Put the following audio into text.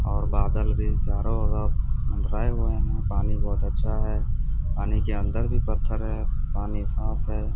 और बादल भी चारों ओर मंडराये हुए है पानी बहोत अच्छा है पानी के अंदर भी पत्थर है पानी साफ है।